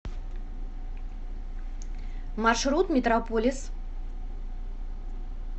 маршрут метрополис